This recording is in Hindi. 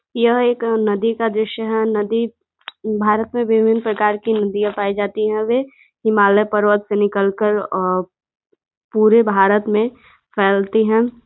यह एक नदी का दृश्य है। नदी भारत में विभिन प्रकार की नदियां पाई जाती हवे । वह हिमालय पर्वत से निकल कर अ पूरे भारत में फैलती हैं।